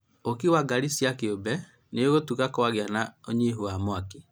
Ũkui wa ngari cia kĩũmbe nĩ ũhũtuga kwagĩa na ũnyihu wa mwaki